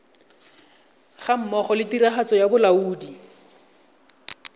gammogo le tiragatso ya bolaodi